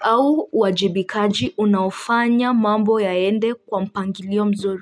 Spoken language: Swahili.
au uwajibikaji unaofanya mambo yaende kwa mpangilio mzuri.